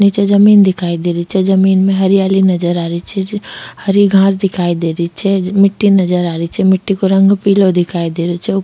निचे जमीं दिखाई दे रही छे जमीं में हरीयाली नजर आ रही छे हरी खास दिखाई दे रही छे मिट्टी नजर आरी छ मिटी को रंग पिलो दिखाई दे रो छे ऊ--